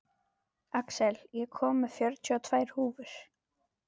Axel, ég kom með fjörutíu og tvær húfur!